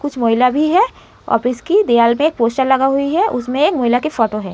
कुछ महिला भी है। ऑफिस की दिवार पे एक पोस्टर लगा हुइ है। उसमें एक महिला की फोटो है।